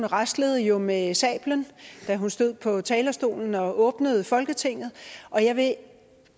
raslede jo med sablen da hun stod på talerstolen og åbnede folketinget og jeg vil